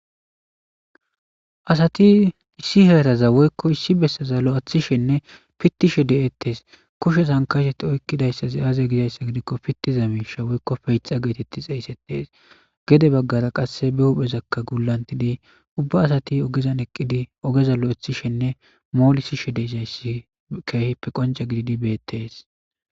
Asati issi heyataza woykko issi bessaza lo'ethishenne pittishe de'ettes kushe sankasheti oykkidayssazi aaze gizayssa gidikko pittiza miisha woykko feyxa geetetti xeeysettees gede baggara qasse be huphezakka guulantidi ubba asati ogezan eqqidi ogeza lo'ethishenne moolisishe deszayssi keehippe qonca gididi beettes.